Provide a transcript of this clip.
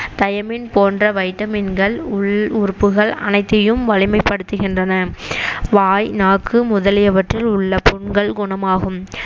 thiamine போன்ற வைட்டமின்கள் உள் உறுப்புகள் அனைத்தையும் வலிமைப்படுத்துகின்றன வாய் நாக்கு முதலியவற்றில் உள்ள புண்கள் குணமாகும்